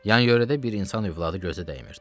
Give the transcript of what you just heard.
Yan-yörədə bir insan övladı gözə dəymirdi.